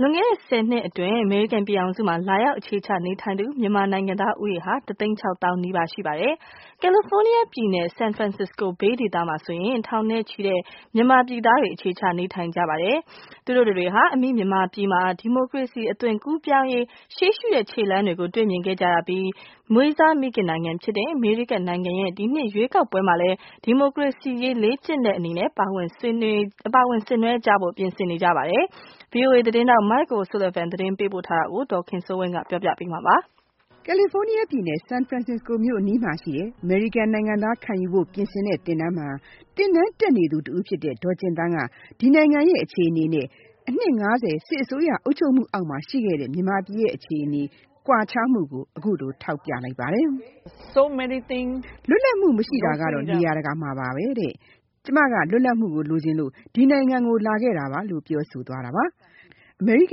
လွန်ခဲ့တဲ့ ၁၀ နှစ်အတွင်း အမေရိကန်ပြည်ထောင်စုမှာ လာရောက်အခြေချနေထိုင်သူ မြန်မာနိုင်ငံသားဦးရေဟာ ၁ သိန်း ၆ သောင်းနီးပါးရှိပါတယ်။ California ပြည်နယ်၊ San Francisco Bay ဒေသမှာဆိုရင် မြန်မာပြည်ကလာသူ ထောင်နဲ့ချီ အခြေချနေထိုင်နေကြပါတယ်။ သူတို့တတွေဟာ အမိမြန်မာပြည်မှာ ဒီမိုကရေစီအသွင်ကူးပြောင်းရေးရှေ့ရှုတဲ့ခြေလှမ်းတွေကို တွေ့မြင်ခဲ့ကြရပြီး မွေးစားမိခင်နိုင်ငံဖြစ်တဲ့ အမေရိကန်ပြည်ထောင်စုရဲ့ ဒီနှစ် ရွေးကောက်ပွဲမှာလည်း ဒီမိုကရေစီရေး လေ့ကျင်တဲ့အနေနဲ့ ပါဝင်ဆင်နွဲကြဖို့ ပြင်ဆင်နေကြပါပြီ။ VOA သတင်းထောက် Mike O’Sullivan ကသတင်းပေးပို့ထားတာကို ဒေါ်ခင်စိုးဝင်းကပြောပြပေးမှာပါ။ San Francisco မြို့အနီးမှာရှိတဲ့ အမေရိကန်နိုင်ငံသားခံယူဖို့ပြင်ဆင်တဲ့သင်တန်းမှာ သင်တန်းတက်နေသူတဦးဖြစ်တဲ့ ဒေါ်ကြင်သန်းက ဒီနိုင်ငံရဲ့ အခြေအနေနဲ့ အနှစ် ၅၀ စစ်အစိုးရအုပ်ချုပ်မှုအောက်မှာ ရှိခဲ့တဲ့ မြန်မာပြည်ရဲ့ အခြေအနေကွားခြားမှုကို ထောက်ပြလိုက်ပါတယ်။ “လွတ်လပ်မှုမရှိတာကတော့ နေရာတကာမှာပါဘဲ။ ကျမကလွတ်လပ်မှုကို လိုချင်လို့ ဒီနိုင်ငံကို လာခဲ့တာပါ။” အမေရိက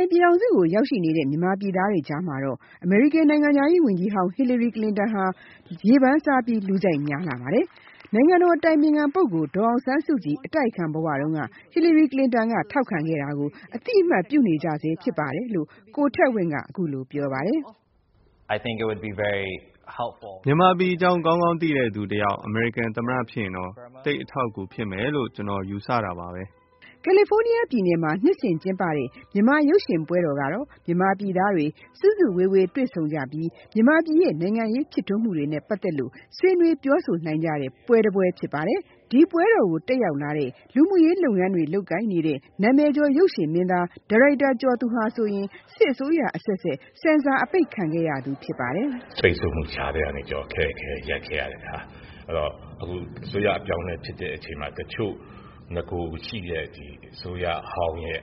န်ပြည်ထောင်စုကိုရောက်နေတဲ့မြန်မာပြည်သားတွေကြားမှာတော့ အမေရိကန်နိုင်ငံခြားရေးဝန်ကြီးဟောင်း Hillary Clinton ကိုရေပန်းစားလူကြိုက်များလှပါတယ်။ နိုင်ငံတော်အတိုင်ပင်ခံပုဂ္ဂိုလ်ဒေါ်အောင်ဆန်းစုကြည် အတိုက်အခံဘဝတုန်းက Hillary Clinton က ထောက်ခံခဲ့တာကို အသိအမှတ်ပြုနေကြဆဲဖြစ်ပါတယ်လို့ ကိုထက်ဝင့်ကပြောပါတယ်။ “မြန်မာပြည်အကြောင်း ကောင်းကောင်းသိတဲ့သူတယောက် အမေရိကန်သမ္မတ ဖြစ်ရင်တော့ သိပ်အထောက်အကူဖြစ်မယ်လို့ ကျနော်ကတော့ယူဆတာပါဘဲ။” ကယ်လီဖိုးနီးယားပြည်နယ်မှာ နှစ်စဉ်ကျင်းပတဲ့ မြန်မာ့ရုပ်ရှင်ပွဲတော်ကတော့ မြန်မာပြည်သားတွေ စုစုစည်းစည်းတွေ့ဆုံကြပြီး မြန်မာပြည်ရဲ့ နိုင်ငံရေးဖြစ်ထွန်းမှုတွေနဲ့ ပတ်သက်ပြီးဆွေးနွေး ပြောဆိုနိုင်ကြတဲ့ပွဲတပွဲဖြစ်ပါတယ်။ ဒီပွဲတော်ကိုတက်ရောက်လာတဲ့ လူမှုရေးလုပ်ငန်းတွေ လုပ်ကိုင်နေတဲ့ နာမည်ကျော် ရုပ်ရှင်မင်းသား၊ ဒါရိုက်တာကျော်သူဟာဆိုရင် စစ်အစိုးရအဆက်ဆက် ဆင်ဆာ အပိတ်ခံခဲ့ရသူဖြစ်ပါတယ်။ “ဒီလိုပိတ်ဆို့မှုကြားထဲကနေပြီးတော့မှ ခက်ခက်ခဲခဲရပ်ခဲ့ရတဲ့အခါ အခုအစိုးရအပြောင်းအလဲဖြစ်တဲ့အခါမှာ တချို့နဂိုရှိတဲ့အစိုးရအပြောင်းအလဲရဲ့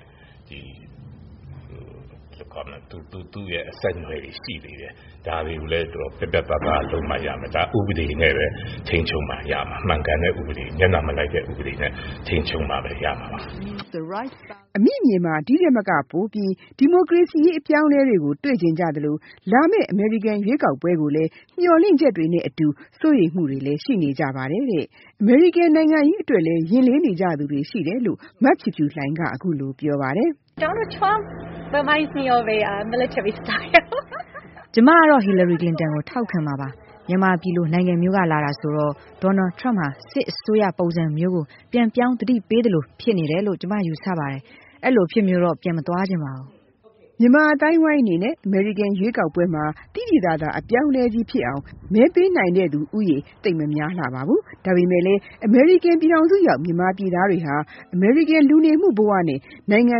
သူ့ရဲ့အဆက်အနွယ်တွေရှိသေးတယ်။ ဒါတွေကိုလည်း ပြတ်ပြတ်သားသားလုပ်မှရမယ် ။ မှန်ကန်တဲ့ဥပဒေနဲ့ပဲ ထိန်းချုပ်မှရမှာ ၊ မျက်နှာမလိုက်တဲ့ ဥပဒေနဲ့ ထိန်းချုပ်မှရမှာပါ။” အမိမြေမှာ ဒီထက်မကပိုပြီး ဒီမိုကရေစီရေးအပြောင်းအလဲတွေပိုပြီးတွေ့ချင်ကြသလို လာမယ့်အမေရိကန်ရွေးကောက်ပွဲကိုလည်း မျှော်လင့်ချက်တွေနဲ့အတူ စိုးရိမ်မှုတွေလည်းရှိနေကြပါတယ်။ အမေရိကန်နိုင်ငံရေးအတွက်လည်း ရင်လေးနေကြ သူတွေရှိတယ်လို့ မဖြူဖြူလှိုင်ကပြောပါတယ်။ “ကျမကတော့ Hillary Clinton ကိုထောက်ခံမှာပါ။ မြန်မာပြည်လိုနိုင်ငံမျိုးကလာတာဆိုတော့ Donald Trump ဟာ စစ်အစိုးရပုံစံမျိုးကို ပြန်ပြောင်းသတိပေးသလိုဖြစ်နေတယ်လို့ ကျမယူဆပါတယ်။ အဲလိုအဖြစ်မျိုးကိုတော့ ပြန်မသွားချင်ပါဘူး။” မြန်မာအသိုင်းအဝိုင်းအနေနဲ့ အမေရိကန်ရွေးကောက်ပွဲမှာ သိသိသာသာအပြောင်းအလဲဖြစ်အောင် မဲပေးနိုင်တဲ့သူဦးရေ သိပ်မများလှပါဘူး။ ဒါပေမယ့် အမေရိကန်ရောက်မြန်မာပြည်သားတွေဟာ အမေရိကန်လူနေမှုဘဝနဲ့ နိုင်ငံ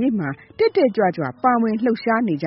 ရေးမှာ တက်တက်ကြွကြွနဲ့ ပါဝင်လှုပ်ရှားနေကြ